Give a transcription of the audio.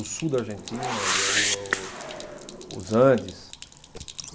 O sul da Argentina, eh o, eh o, os Andes.